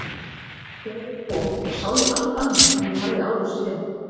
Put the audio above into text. Þegar ég kom sá ég allt annað en ég hafði áður séð.